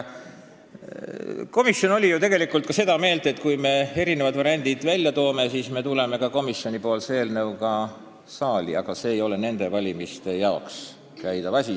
Komisjon oli ju seda meelt, et kui me erinevad variandid välja toome, siis me tuleme ka komisjoni eelnõuga saali, aga see ei ole nende valimiste jaoks väljakäidav ja lõplikult lahendatav asi.